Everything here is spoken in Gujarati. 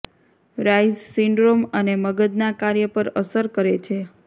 રાયઝ સિન્ડ્રોમ અને મગજના કાર્ય પર અસર કરે છે